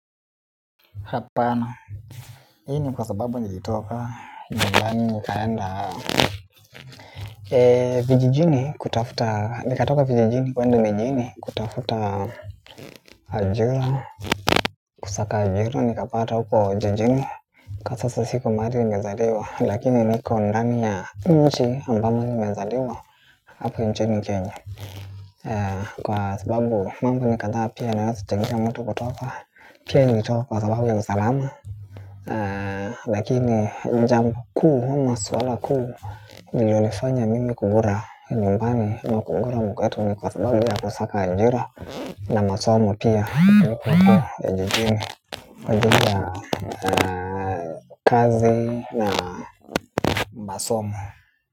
Hapana, hii ni kwa sababu nilitoka, nyumbani nikaenda vijijini kutafuta, nikatoka vijijini kwenda mijini kutafuta ajira. Kusaka ajira nikapata huko jijini. Kwa sasa siko mahali nimezaliwa lakini niko ndani ya nchi ambamo nimezaliwa hapa nchini kenya. Kwa sababu mambo ni kadhaa pia yanaweza kuchangia mtu kutoka. Pia nilitoka kwa sababu ya usalama. Lakini jambo kuu ama suala kuu lililonifanya mimi kugura nyumbani amakugura ama kugura mtaa wetu ni kwa sababu ya kusaka ajira. Na masomo pia nilipokua jijini. Kwa ajili ya kazi na masomo.